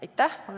Aitäh!